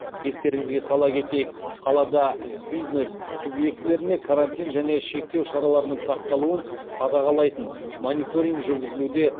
естеріңізге сала кетейік қалада бизнес субъектілеріне карантин және шектеу шараларының сақталуын қадағалайтын мониторинг жүргізілуде